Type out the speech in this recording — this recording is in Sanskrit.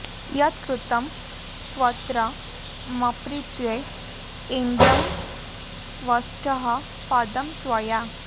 यत् कृतं त्वत्र मत्प्रीत्यै ऐन्द्रं त्वष्टः पदं त्वया